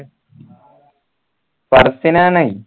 ഫർസിനാണ്